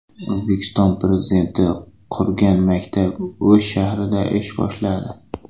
O‘zbekiston Prezidenti qurgan maktab O‘sh shahrida ish boshladi .